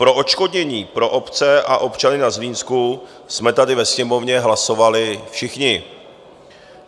Pro odškodnění pro obce a občany na Zlínsku jsme tady ve Sněmovně hlasovali všichni.